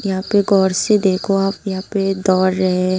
यहां पे गौर से देखो आप यहां पे दौड़ रहे--